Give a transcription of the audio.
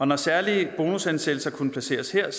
når særlige bonushensættelser kunne placeres her